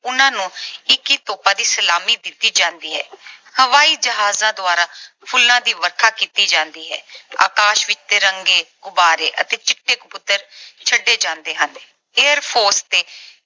ਉਹਨਾਂ ਨੂੰ ਇੱਕੀ ਤੋਪਾਂ ਦੀ ਸਲਾਮੀ ਦਿੱਤੀ ਜਾਂਦੀ ਹੈ। ਹਵਾਈ ਜਹਾਜਾਂ ਦੁਆਰਾ ਫੁੱਲਾਂ ਦੀ ਵਰਖਾ ਕੀਤੀ ਜਾਂਦੀ ਹੈ। ਆਕਾਸ਼ ਵਿੱਚ ਤਿਰੰਗੇ, ਗੁਬਾਰੇ ਅਤੇ ਚਿੱਟੇ ਕਬੂਤਰ ਛੱਡੇ ਜਾਂਦੇ ਹਨ। Air Force ਤੇ